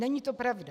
Není to pravda.